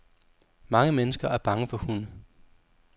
Mange mennesker er bange for hunde.